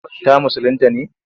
Ta musulinta ne?